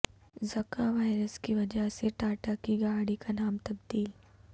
زکا وائرس کی وجہ سےٹاٹا کی گاڑی کا نام تبدیل